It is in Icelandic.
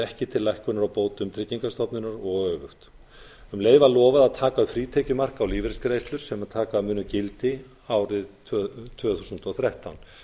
ekki til lækkunar á bótum tryggingastofnunar og öðru um leið var lofað að taka upp frítekjumark á lífeyrisgreiðslur sem taka munu gildi árið tvö þúsund og þrettán